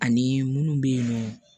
Ani munnu be yen nɔn